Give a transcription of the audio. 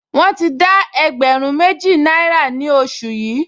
Wọ́n ti dá ẹgbẹ̀rún méjì náírà ní oṣù yìí